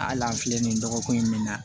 Hali an filɛ nin ye dɔgɔkun in bɛ na